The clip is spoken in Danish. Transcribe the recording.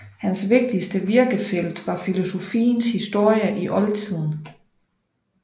Hans vigtigste virkefelt var filosofiens historie i oldtiden